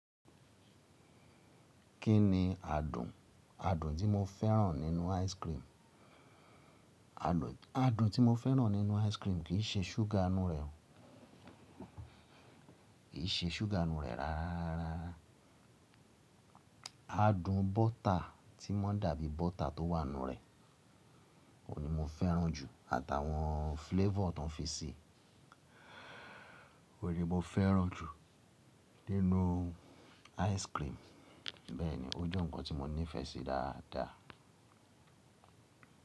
Kí ni adùn adùn tí mo fẹ́ràn nínú ice cream? Adùn tí mo fẹ́ràn nínú ice cream kì í ṣe ṣúgà ínú rẹ̀ o. Kì í ṣe ṣúgà ínú rẹ̀ rárá rarara. Adùn bọ́tà tí wọ́n dàbí bọ́tà tó wà nínú rẹ̀, òní mo fẹ́ràn jù. Àtàwọn flavor tó n fi ṣi, oun ni mo fẹ́ràn jù nínú ice cream. Bẹ́ẹ̀ni, ó jẹ́ nǹkan tí mo nífẹ̀ẹ́ sí dáadáa.